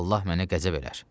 Allah mənə qəzəb edər.